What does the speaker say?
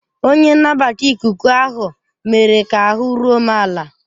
Onye nnabata ikuku ahụ mere ka ahụ́ ruo m ala.